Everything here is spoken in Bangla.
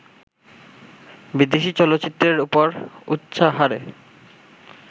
বিদেশি চলচ্চিত্রের ওপর উচ্চহারে